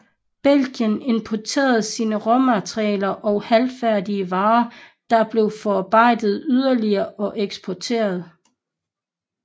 Belgien importerer sin råmaterialer og halvfærdige varer der bliver forarbejdet yderligere og eksporteret